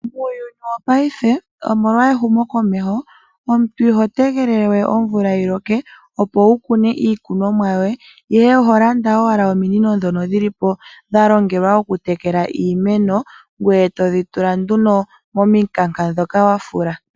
Muuyuni wopaife omolwa ehumokomeho, omuntu iho tegelele we omvula yi loke opo wu kune iikunomwa yoye, ihe oho landa owala ominino ndhoka dha longwa dhokutekela iimeno, ngoye to dhi tula nduno momikanka ndhoka wa fula.